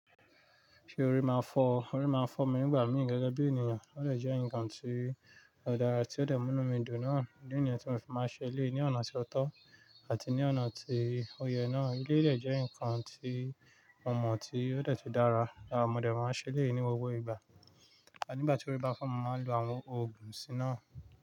Ṣé orí máa ń fọ́? Orí máa ń fọ́ mi nígbà mìíràn gẹ́gẹ́ bí ènìyàn. Ó lè jẹ́ ǹkan tí ọ̀dà àti ó lè mú mí dùn náà. Ni ènìyàn tí mo fi máa ṣe lé ní ọ̀nà tí ó tọ́ àti ní ọ̀nà tí ó yẹ náà. Ki lè jẹ́ ǹkan tí ọmọ tí ó dẹ̀ tí dára, àwọn ọmọ dẹ̀ máa ń ṣe lé e ní gbogbo ìgbà. Àní ìgbà tí orí bá fọ́ mi mo máa lò àwọn òògùn sí i náà.